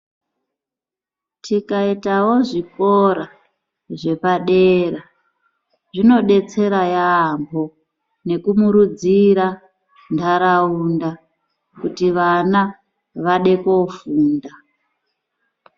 Tikaitawo zvikora zvepadera zvinodetsera yamho nekumurudzira nharaunda kuti vana vade koofunda.